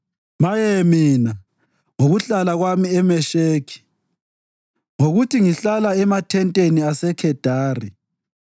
Maye mina ngokuhlala kwami eMesheki, ngokuthi ngihlala emathenteni aseKhedari!